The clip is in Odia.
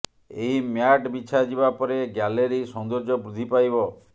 ଏହି ମ୍ୟାଟ୍ ବିଛା ଯିବା ପରେ ଗ୍ୟାଲେରୀ ସୌନ୍ଦର୍ଯ୍ୟ ବୃଦ୍ଧି ପାଇବ